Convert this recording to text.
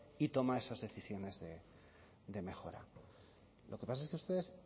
y toma esas decisiones de mejora lo que pasa es que ustedes